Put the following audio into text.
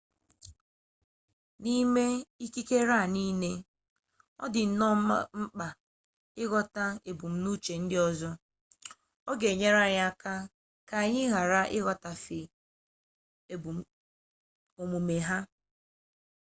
n'ime ikikere a niile ọ dị nnọọ mkpa ịghọta ebumnuche ndị ọzọ ọ ga-enye anyị aka ka anyị ghara ịghọtahie omume ha